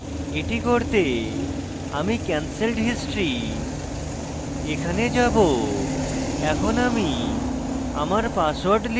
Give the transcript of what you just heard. এটি করতে আমি cancelled history এখানে যাবো